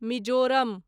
Mizoram